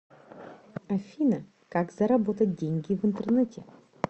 афина как заработать деньги в интернете